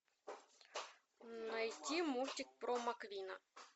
найти мультик про маквина